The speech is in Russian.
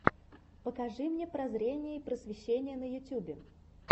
покажи мне прозрение и просвещение на ютубе